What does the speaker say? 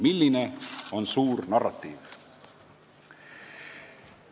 Milline on suur narratiiv?